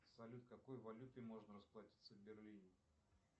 салют какой валютой можно расплатиться в берлине